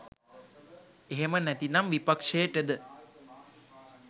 එහෙම නැතිනම් විපක්ෂයටද